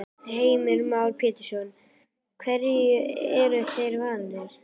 Heimir Már Pétursson: Hverju eru þeir vanir?